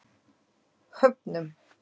Höfnum